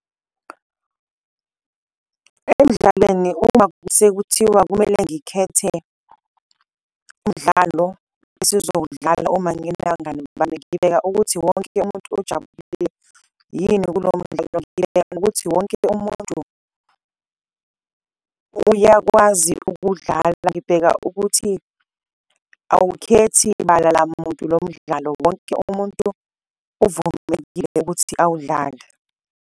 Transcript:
Emdlaleni uma sekuthiwa kumele ngikhethe umdlalo esizowudlala uma nginabangani bami ngibheka ukuthi wonke umuntu ojabulile yini kulowo mdlalo, ukuthi wonke umuntu uyakwazi ukudlala. Ngibheka ukuthi awukhethi bala lamuntu lo mdlalo wonke umuntu uvumelekile ukuthi awudlale.